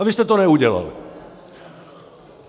A vy jste to neudělali.